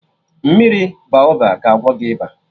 Mmiri Baoba ga agwọ gị ịba